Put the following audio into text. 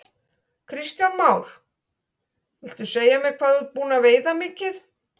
Kristján Már: Viltu segja mér hvað þú ert búinn að veiða mikið?